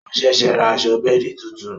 O ṣẹ̀ṣẹ̀ rà aṣọ bẹ́ẹ̀di tuntun